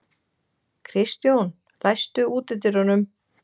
Kristjón, læstu útidyrunum.